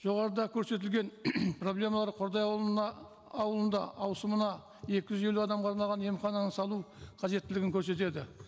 жоғарыда көрсетілген проблемалар қордай ауылына ауылында ауысымына екі жүз елу адамға арналған емхананы салу қажеттілігін көрсетеді